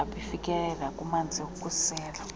abafikeleli kumanzi wokusela